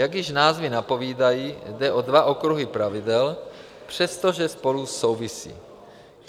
Jak již názvy napovídají, jde o dva okruhy pravidel, přestože spolu souvisí.